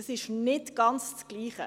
Das ist nicht ganz das Gleiche.